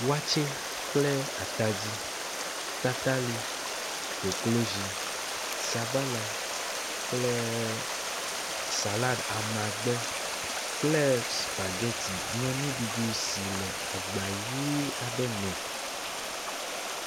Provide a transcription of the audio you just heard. Wakye kple atadi, tatali, koklozi, sabala kplee salad amagbe kple spaghetti nye nuɖuɖu si le agba ʋi aɖe me.